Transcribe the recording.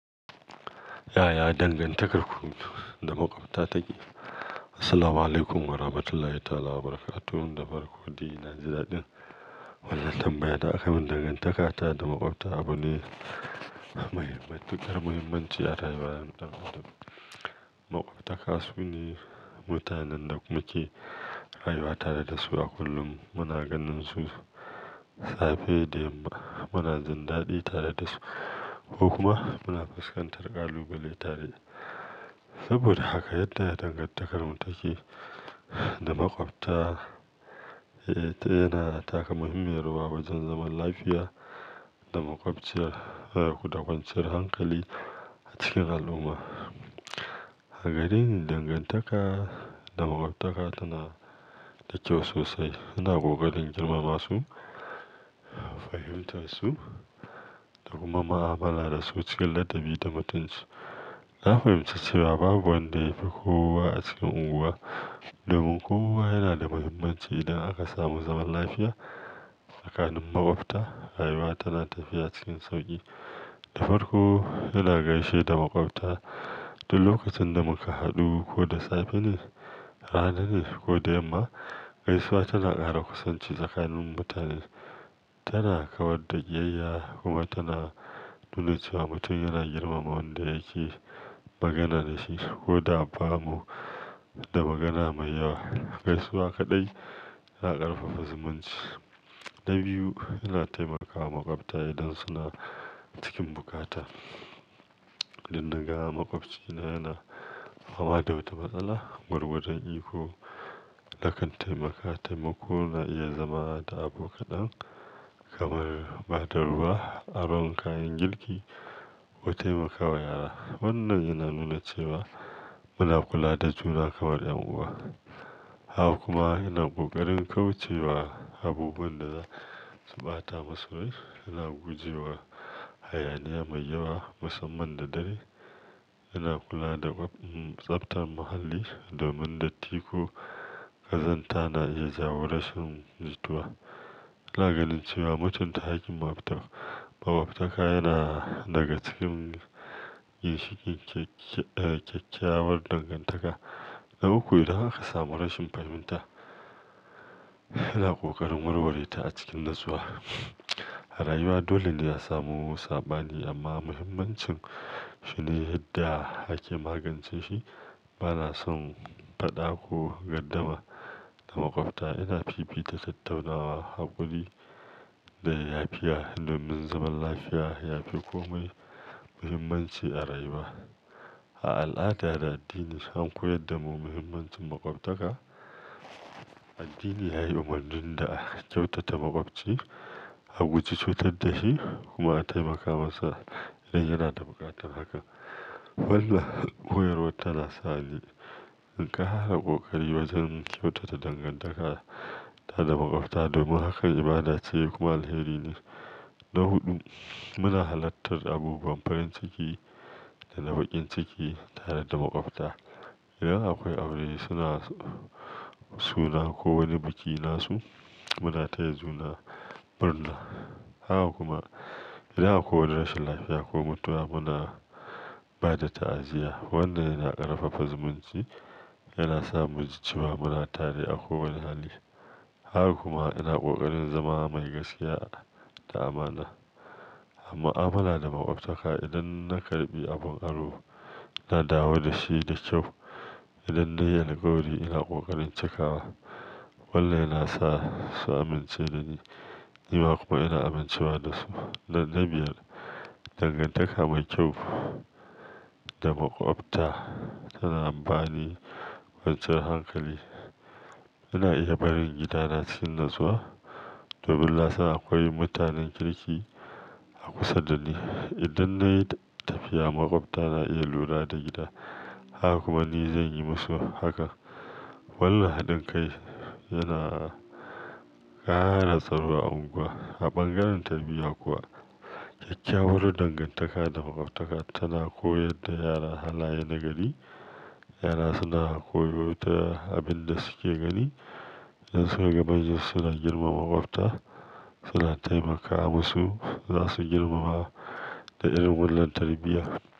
Ya ya dangantakar da makwabta take? Assalamualaikum warahmatullahi ta'ala wabarakatuh. Da farko dai na ji dadin wannan tambaya da aka min dangantaka ta da makwabta abu ne muhimmi-- babban muhimmanci a rayuwar ɗan adam. Makwabtaka su ne mutanen da muke rayuwa tare da su a kullum. Muna ganin su safe da yamma, muna jindaɗi tare da su ko kuma muna fuskantar ƙalubale tare. Saboda haka yadda dangantakar mu take da makwabta, eh, tana taka muhimmiyar rawa wajen zaman lafiya da makwabci, eh, dakwanciyar hankali a cikin al'umma. Agari yin dangantaka da makwabtaka tana da kyau sosai. Ina ƙoƙari in girmama su, fahimtar su da kuma mu'amala da su cikin ladabi da mutunci. Na fahimci cewa babu wanda ya fi kowa a cikin unguwa domin kowa yana da muhimmanci idan aka samu zaman lafiya tsakanin makwabta, rayuwa tana tafiya cikin sauƙi. Ɗafarƙo ina gaishe da makwabta duk lokacin da muka haɗu ko da safe ne, rana ne ko da yamma. Gaisuwa tana ƙara kusanci tsakanin mutane, tana kawar da ƙiyayya kuma tana nuna cewa mutum yana girmama wanda yake magana da shi ko da ba bu da magana mai yawa. Gaisuwa kaɗai ya ƙarfafa zumunci. Na biyu, ina taimakawa makwabta idan suna cikin bukata. Idan naga makwabcina yana fama da wata matsala, gwargwadon iko na kan taimaka. Taimako na iya zama da abu kaɗan kamar ba da ruwa, aron kayan girki ko taimakawa yara. Wannan yana nuna cewa muna kula da juna kamar ƴan uwa. Haka kuma yana ƙoƙarin kauce wa abubuwan da za su ɓata musu rai. Ina guje wa hayaniya mai yawa, musamman da dare. Ina kula da tsaftar muhalli domin datti ko ƙazanta na iya jawo rashin jituwa? Ina ganin cewa mutunta hakkin makwabta, makwabtaka yana daga cikin yin cikin kyakkyawar dangantaka. Da uku, idan aka samu rashin fahimta, ina ƙoƙarin warware ta a cikin natsuwa. A rayuwa dole ne a samu sabani amma muhimmancin shi ne yadda ake magance shi. Bana son faɗa ko gardama da makwabta. Ina fifita tattaunawa, haƙuri da yafiya domin zaman lafiya yafi komai muhimmanci a rayuwa. A al'ada da addini sun koyar da mu muhimmancin makwabtaka. Addini ya yi umarnin da kyautata makwabci, a guji cutar da shi kuma a taimaka masa idan yana da buƙatar haka. Wannan koyarwa tana sa ni in ƙara ƙoƙari wajen kyautata dangantaka ta da makwabta domin hakan ibada ce kuma alheri ne. Na huɗu, muna halartar abubuwan farin ciki da na baƙin ciki tare da makwabta. Idan akwai aure, suna, suna ko wani biki nasu, muna taya juna murna. Haka kuma idan akwai wani rashin lafiya ko mutuwa muna ba da ta'aziyya. Wannan yana ƙarfafa zumunci, yana sa mu ji cewa muna tare a kowane hali. Haka kuma yana ƙoƙarin zama mai gaskiya da amana. Mu'amala da makwabtaka, idan na karɓi abin aro, na dawo da shi da kyau. Idan na yi alkawari, ina ƙoƙarin cikawa. Wannan yana sa su amince da ni, ni ma kuma ina amincewa da su. Da na biyar, dangantaka mai kyau da makwabta tana dan bani kwanciyar hankali. Ina iya barin gidana cikin natsuwa domin na san akwai mutanen kirki a kusa da ni. Idan na yi tafiya, makwabta na iya lura da gida, haka kuma ni zan yi musu haka. Wannan haɗin kai yana ƙara tsaro a unguwa. A bangaren tarbiyya kuwa, kyakkyawar dangantaka da makwabtaka tana koyar da yara halaye na gari. Yara suna koyo ta abin da suke gani. Idan suka ga manyan suna girmama makwabta, suna taimaka musu, za su girmama da irin wannan tarbiyya.